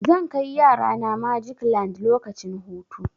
Zan kai yarana magic land lokacin hutu.